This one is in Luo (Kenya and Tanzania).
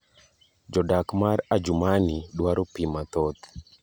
Jodak mar Adjumanni dwaro pii mathoth.